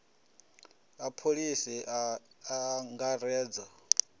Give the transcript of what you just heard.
a pholisi a a angaredza